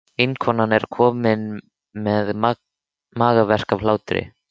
Vinkonan er komin með magaverk af hlátri.